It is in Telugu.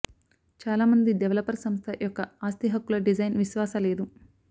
చాలా మంది డెవలపర్ సంస్థ యొక్క ఆస్తి హక్కుల డిజైన్ విశ్వాస లేదు